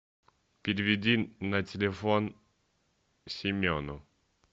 переведи на телефон семену